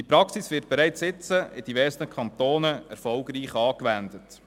Diese Praxis wird bereits heute in diversen Kantonen erfolgreich angewendet.